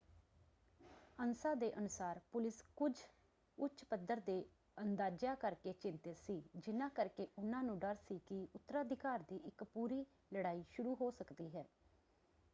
ANSA ਦੇ ਅਨੁਸਾਰ police ਕੁਝ ਉੱਚ ਪੱਧਰ ਦੇ ਅੰਦਾਜ਼ਿਆਂ ਕਰਕੇ ਚਿੰਤਿਤ ਸੀ ਜਿਨ੍ਹਾ ਕਰਕੇ ਉਹਨਾਂ ਨੂੰ ਡਰ ਸੀ ਕਿ ਉਤਰਾਧਿਕਾਰ ਦੀ ਇੱਕ ਪੂਰੀ ਲੜਾਈ ਸ਼ੁਰੂ ਹੋ ਸਕਦੀ ਹੈ।